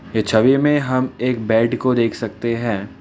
ये छवि में हम एक बेड को देख सकते है।